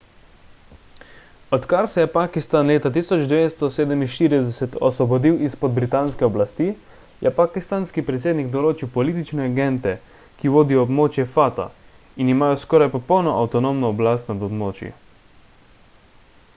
odkar se je pakistan leta 1947 osvobodil izpod britanske oblasti je pakistanski predsednik določil politične agente ki vodijo območja fata in imajo skoraj popolno avtonomno oblast nad območji